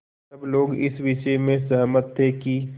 सब लोग इस विषय में सहमत थे कि